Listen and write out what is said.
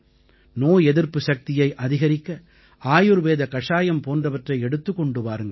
நோய் எதிர்ப்பு சக்தியை அதிகரிக்க ஆயுர்வேத கஷாயம் போன்றவற்றை எடுத்துக் கொண்டு வாருங்கள்